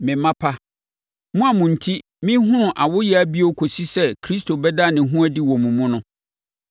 Me mma pa, mo a mo enti merehunu awoyea bio kɔsi sɛ Kristo bɛda ne ho adi wɔ mo mu no,